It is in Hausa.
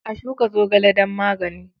A shuka zogale don magani.